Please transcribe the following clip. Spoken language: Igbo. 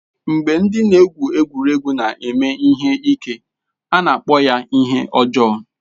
Mgbe ndị na-egwu egwuregwu na-eme ihe ike, a na-akpọ ya ihe ọjọọ.